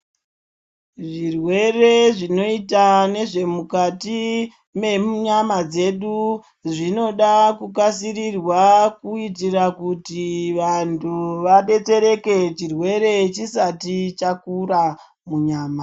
Zvirwere zvinoita nezvemukati mwemunyama dzedu zvinoda kukasirirwa kuitira kuti vantu vadetserekae chirwere chisati chakura munyama.